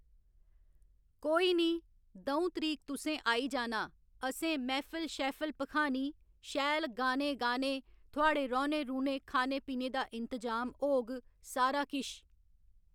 कोई निं द'ऊं तरीक तुसें आई जाना असें मैह्फिल शैह्फिल भखानी शैल गाने गाने थुआढ़े रौह्‌ने रौह्ने खाने पीने दा इंतजाम होग सारा किश